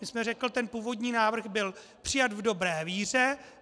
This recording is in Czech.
My jsme řekli, ten původní návrh byl přijat v dobré víře.